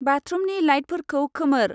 बाथ्रुमनि लाइटफोरखौ खोमोर।